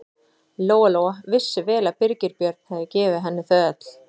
Lóa-Lóa vissi vel að Birgir Björn hafði gefið henni þau öll.